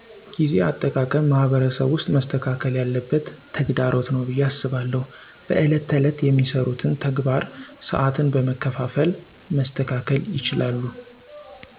ጊዜ አጠቃቀም ማህበረሰብ ውስጥ መስተካከል ያለበት ተግዳሮት ነው ብየ አስባለሁ። በዕለት ተዕለት የሚሰሩትን ተግባር ሰዓትን በመከፋፈል መስተካከል ይችላሉ